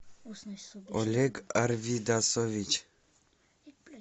олег арвидасович